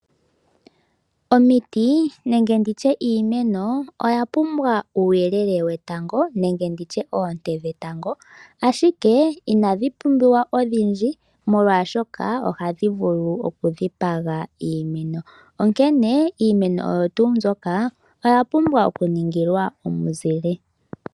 Omiti nenge nditye iimeno oya pumbwa uuyelele wetango nenge nditye oonte dhetango, ashike inadhi pumbiwa odhindji molwaashoka ohadhi vulu okudhipaga iimeno. Onkene iimeno oyo tuu mbyoka oya pumbwa okuningilwa omuzile.